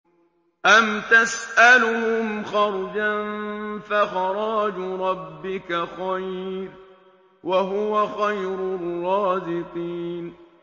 أَمْ تَسْأَلُهُمْ خَرْجًا فَخَرَاجُ رَبِّكَ خَيْرٌ ۖ وَهُوَ خَيْرُ الرَّازِقِينَ